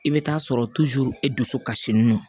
I bɛ taa sɔrɔ e dusu kasilen don